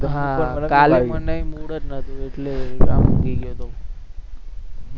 હા કાલે મનેય mood જ નહતું એટલે ઊંઘી ગયો તો